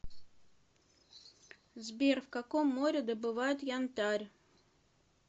сбер в каком море добывают янтарь